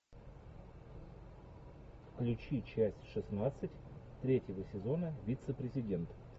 включи часть шестнадцать третьего сезона вице президент